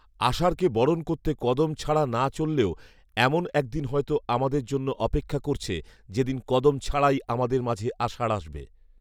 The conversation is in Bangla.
আষাঢ়কে বরণ করতে কদম ছাড়া না চললেও এমন একদিন হয়তো আমাদের জন্য অপেক্ষা করছে যে দিন কদম ছাড়াই আমাদের মাঝে আষাঢ় আসবে